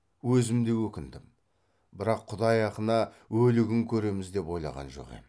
өзім де өкіндім бірақ құдай ақына өлігін көреміз деп ойлаған жоқ ем